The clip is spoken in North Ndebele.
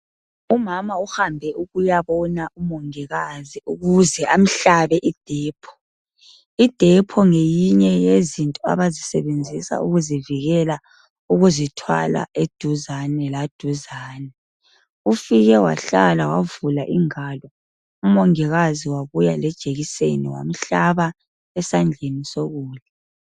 Umama uhambe ukuyabona umongikazi ukuze amhlabe idepho. Idepho ngeyinye yezinto abayisebenzisa ukuzivikela ukuzithwala eduzane laduzane, ufike wahlala wavula ingalo umongikazi wabuya lejekiseni wamhlaba esandleni sokudla.